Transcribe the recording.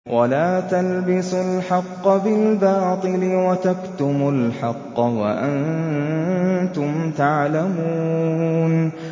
وَلَا تَلْبِسُوا الْحَقَّ بِالْبَاطِلِ وَتَكْتُمُوا الْحَقَّ وَأَنتُمْ تَعْلَمُونَ